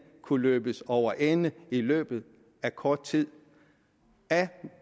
kunne løbes over ende i løbet af kort tid af